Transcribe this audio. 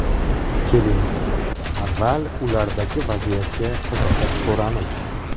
Keling, avval, ulardagi vaziyatga qiziqib ko‘ramiz.